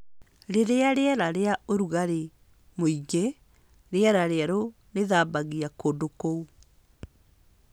Rĩrĩa rĩera rĩrĩ na ũrugarĩ mũingĩ, rĩera rĩerũ rĩthambagia kũndũ kũu.